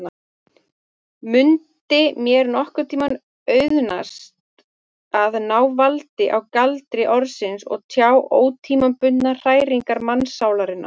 Mundi mér nokkurntíma auðnast að ná valdi á galdri orðsins og tjá ótímabundnar hræringar mannssálarinnar?